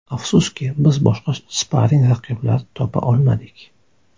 Afsuski, biz boshqa sparring-raqiblar topa olmadik.